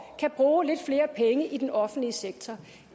kan bruge lidt flere penge i den offentlige sektor